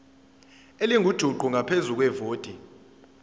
elingujuqu ngaphezu kwevoti